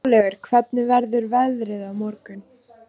Snjólaugur, hvernig verður veðrið á morgun?